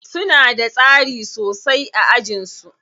Suna da tsari sosai a ajin su.